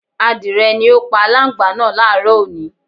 Adìrẹ ni ó pa aláǹgbá náà láàárọ̀ òní